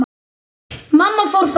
Mamma fór fram.